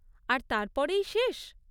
আর তারপরেই শেষ?